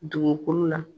Dugukolo la